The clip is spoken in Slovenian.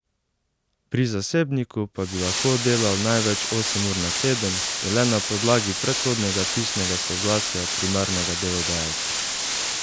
Pri zasebniku pa bi lahko delal največ osem ur na teden in le na podlagi predhodnega pisnega soglasja primarnega delodajalca.